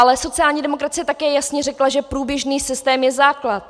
Ale sociální demokracie také jasně řekla, že průběžný systém je základ.